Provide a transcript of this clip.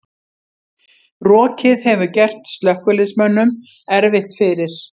Rokið hefur gert slökkviliðsmönnum erfitt fyrir